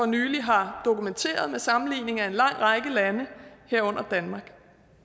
nylig har dokumenteret en sammenligning af en lang række lande herunder danmark